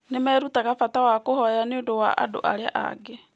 Nĩ merutaga bata wa kũhoya nĩ ũndũ wa andũ arĩa angĩ.